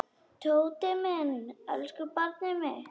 Tóti minn, elsku barnið mitt.